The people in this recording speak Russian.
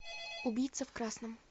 убийца в красном